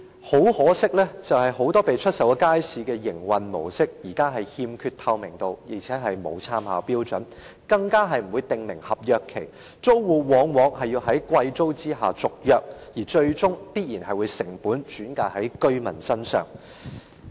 很可惜，很多已售出的街市的營運模式現時欠缺透明度，亦沒有參考標準，更不會訂明合約期，租戶往往要在支付昂貴租金的條件下續約，最終必然會將成本轉嫁居民身上。